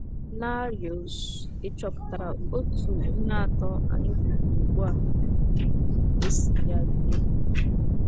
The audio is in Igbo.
narios? Ị̀ chọpụtara otú ihe atọ a anyị kwupụrụ ugbu a si yie ibe ha?